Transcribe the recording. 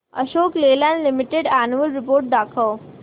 Ashok Leyland limited annual report दाखव